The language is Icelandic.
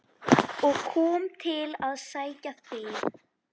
og kom til að sækja þig.